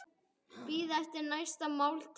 Bíða eftir næstu máltíð.